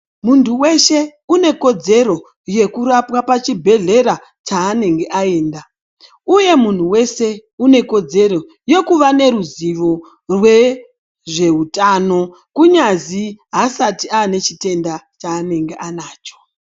Muntu weshe une kodzero yekurapwa pachibhedhlera chaanenge aenda uye munhu weshe une kodzero yekuva neruzivo rwezveutano kunyazi asati ane chitenda chaanenge anacho.